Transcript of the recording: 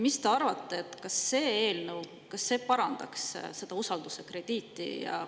Mis te arvate, kas see eelnõu parandaks seda usalduskrediiti?